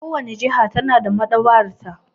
Kowace jiha ta na da maɗaba'arta.